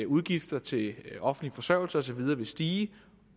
udgifterne til offentlig forsørgelse og så videre vil stige